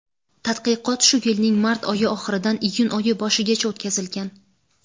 Tadqiqot shu yilning mart oyi oxiridan iyun oyi boshigacha o‘tkazilgan.